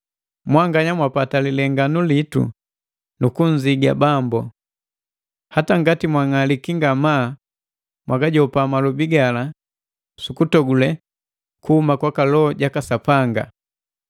Mwanganya mwapwata lilenganu litu, nu kunziga Bambu. Hata ngati mwang'aliki ngamaa mwagajopa malobi gala sukutogule kuhuma kwaka Loho jaka Sapanga.